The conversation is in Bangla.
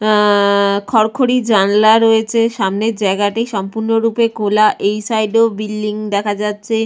আহ- খড়খড়ি জানলা রয়েছে সামনের জায়গাটি সম্পূর্ণ রূপে খোলা এই সাইড এও বিল্ডিং দেখা যাচ্ছে।